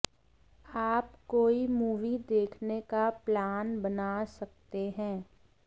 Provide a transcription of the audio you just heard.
आप कोई मूवी देखने का प्लान बना सकते हैं